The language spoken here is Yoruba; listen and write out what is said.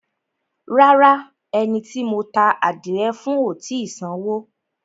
Rárá, ẹni tí mo ta ádìrẹ fún ò tì í sanwó.